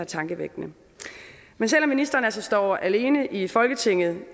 tankevækkende men selv om ministeren altså står alene i folketinget